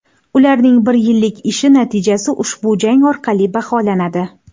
Ularning bir yillik ishi natijasi ushbu jang orqali baholanadi.